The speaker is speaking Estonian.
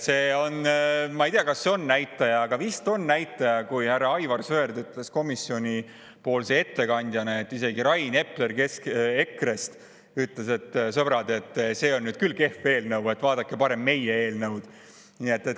Ma ei tea, kas see on näitaja, aga vist on näitaja, sest ka härra Aivar Sõerd ütles komisjoni ettekandjana seda, et isegi Rain Epler EKRE‑st ütles, et, sõbrad, see on nüüd küll kehv eelnõu, vaadake parem meie eelnõu.